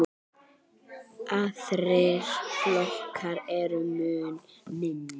Aðrir flokkar eru mun minni.